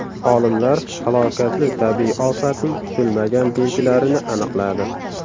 Olimlar halokatli tabiiy ofatning kutilmagan belgilarini aniqladi.